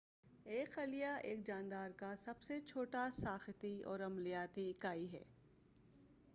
ایک خلیہ ایک جاندار کا سب سے چھوٹا ساختی اور عملیاتی اکائی ہے